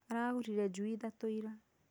Aragũrire njui ithatũ ira